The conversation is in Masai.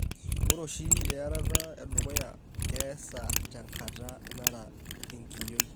Ore oshi earata edukuya keesa tenkata nara enkiyio.